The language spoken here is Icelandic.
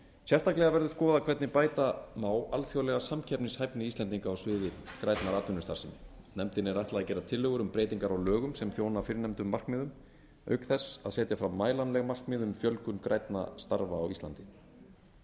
sérstaklega verður skoðað hvernig bæta má alþjóðlega samkeppnishæfni íslendinga á sviði grænnar atvinnustarfsemi nefndinni er ætlað að gera tillögur um breytingar á lögum sem þjóna fyrrnefndum markmiðum auk þess að setja fram mælanleg markmið um fjölgun grænna starfa á íslandi